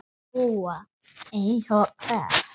SÓLA: Eins og hvert?